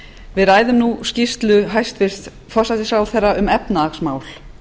við ræðum nú skýrslu hæstvirts forsætisráðherra um efnahagsmál